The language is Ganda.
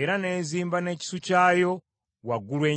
era n’ezimba n’ekisu kyayo waggulu ennyo?